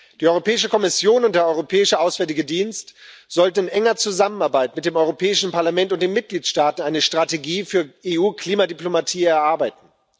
Die Europäische Kommission und der Europäische Auswärtige Dienst sollten in enger Zusammenarbeit mit dem Europäischen Parlament und den Mitgliedstaaten eine Strategie für EU Klimadiplomatie erarbeiten.